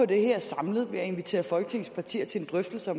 det her samlet ved at invitere folketingets partier til en drøftelse af